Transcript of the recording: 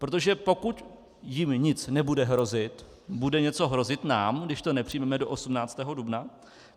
Protože pokud jim nic nebude hrozit, bude něco hrozit nám, když to nepřijmeme do 18. dubna?